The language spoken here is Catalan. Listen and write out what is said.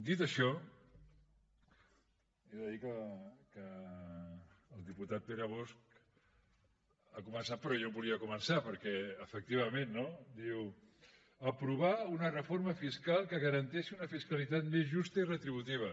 dit això he de dir que el diputat pere bosch ha començat per on jo volia començar perquè efectivament no diu aprovar una reforma fiscal que garanteixi una fiscalitat més justa i retributiva